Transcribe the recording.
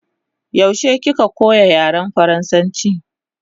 Yaushe kika koya yaren faransanchi?